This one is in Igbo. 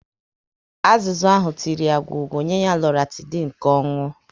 Azụzu ahụ tiri ya gwọọ gwo, nye ya Loratidin ka ọ nwụọ